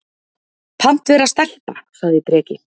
Pant vera stelpa, sagði Breki.